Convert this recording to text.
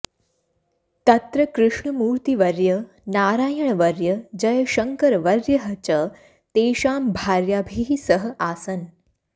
तत्र कृष्णमूर्तिवर्य नारायणवर्य जयशङ्करवर्यः च तेषां भार्याभिः सह आसन्